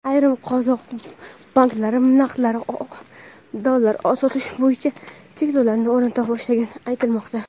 ayrim qozoq banklari naqd dollar sotish bo‘yicha cheklovlarni o‘rnata boshlagani aytilmoqda.